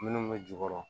Minnu bɛ jukɔrɔ